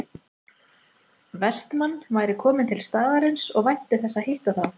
Vestmann væri kominn til staðarins og vænti þess að hitta þá